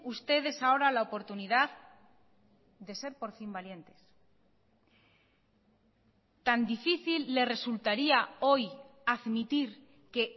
ustedes ahora la oportunidad de ser por fin valientes tan difícil le resultaría hoy admitir que